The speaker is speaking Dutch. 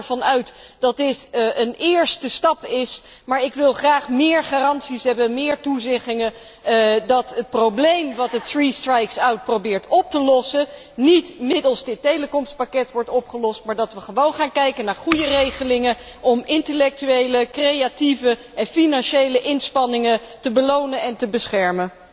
Ik ga er dus van uit dat dit een eerste stap is, maar ik wil graag meer garanties hebben, meer toezeggingen dat het probleem wat de three strikes out probeert op te lossen niet middels dit telecompakket wordt opgelost, en dat wij gaan kijken naar goede regelingen om intellectuele, creatieve en financiële inspanningen te belonen en te beschermen.